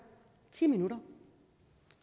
ti minutter